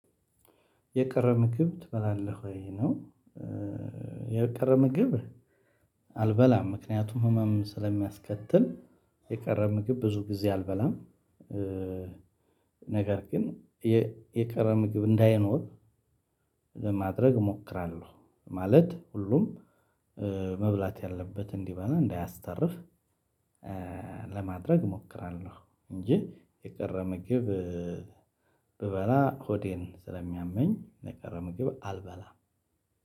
የቀረ ምግብ ትበላለህ ወይ? ነው የቀረ ምግብ አልበላም ምክንያቱም ህመም ስለሚያስከትል የቀረ ምግብ ብዙ ጊዜ አልበላም። ነገር ግን የቀረ ምግብ እንዳይኖር ለማድረግ እሞክራለሁ ማለት ሁሉም መብላት ያለበት እንዲበላ እንዳያስተርፍ ለማድረግ እሞክራለሁ እንጂ የቀረ ምግብ ብበላ ሆዴን ስለሚያመኝ የቀረ ምግብ አልበላም።